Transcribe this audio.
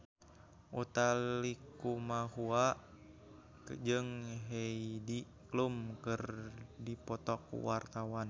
Utha Likumahua jeung Heidi Klum keur dipoto ku wartawan